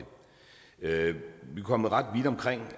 kommet ret vidt omkring og